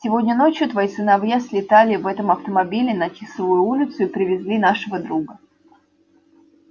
сегодня ночью твои сыновья слетали в этом автомобиле на тисовую улицу и привезли нашего друга